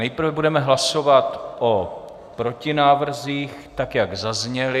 Nejprve budeme hlasovat o protinávrzích tak, jak zazněly.